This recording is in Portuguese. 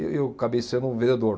E eu acabei sendo um vendedor.